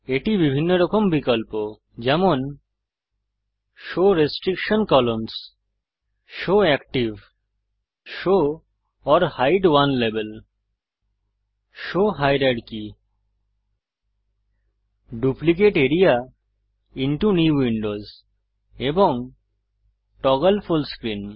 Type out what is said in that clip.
এটি বিভিন্ন রকম বিকল্প যেমন show restriction columns show active show or hide one level show hierarchy duplicate area into new window এবং টগল ফুল স্ক্রিন